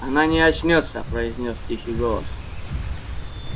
она не очнётся произнёс тихий голос